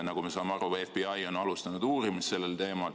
Nagu me aru saame, siis on FBI alustanud uurimist sellel teemal.